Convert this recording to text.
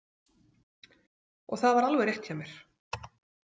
Og það var alveg rétt hjá mér!